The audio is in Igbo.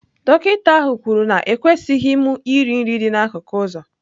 Dọkịta ahụ kwuru na ekwesịghị m iri nri dị n'akụkụ ụzọ.